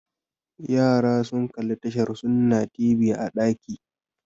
Yara sun kalli tashar Sunna TV a ɗaki